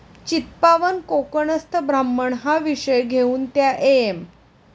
चित्पावन कोकणस्थ ब्राह्मण 'हा विषय घेउन त्या एम.